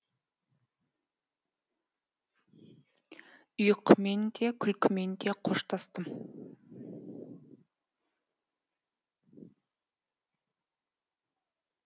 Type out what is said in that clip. ұйқымен де күлкімен де қоштастым